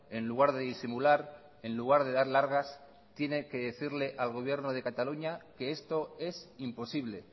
en lugar de disimular en lugar de dar largas tiene que decirle al gobierno de cataluña que esto es imposible